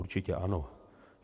Určitě ano.